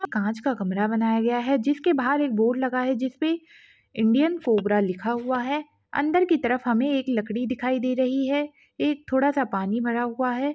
कांच का कमरा बनाया गया है जिसके बाहर एक बोर्ड लगा है जिसपे इंडियन कोबरा लिखा हुआ है अंदर की तरफ हमे एक लकड़ी दिखाई दे रही है एक थोड़ा सा पानी भरा हुआ है।